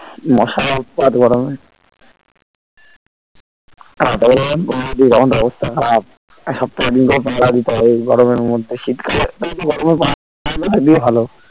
মশার উৎপাত গরমে . তখন অবস্থা খারাব সবথেকে . পাহারা দিতে হবে এই গরমে মধ্যে শীতকালে একটু একটু গরমে পাহাড়া দিতে হয় এক দিকে ভালো